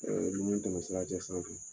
tɔmɔ sira cɛ sisan.